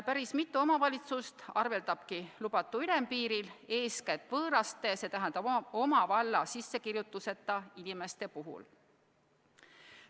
Päris mitu omavalitsust arveldabki lubatu ülempiiril, eeskätt nn võõraste, oma valla sissekirjutuseta inimeste puhul.